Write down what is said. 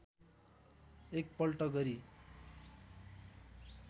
एक पल्ट गरी